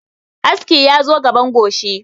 Aski ya zo gaban goshi